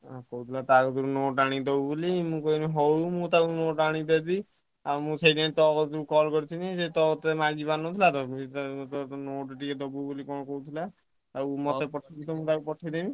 କଣ କହୁଥିଲା ଟା କତିରୁ note ଆଣି ଦବୁ ବୋଲି ମୁଁ କହିଲି ହଉ ମୁଁ ତାକୁ note ଅନି ଦେବି ଆଉ ମୁଁ ସେଇଥିପାଇଁ ତୋ ପାଖକୁ call କରିଥିଲି ସିଏ ତତେ ମାଗିପରିନଥିଲା ତ note ଟିକେ ଦବୁ ବୋଲି କଣ କହୁଥିଲା ଆଉ ମତେ ପଠେଇଦବୁ ମୁ ତାକୁ ପଠେଇଦେବି।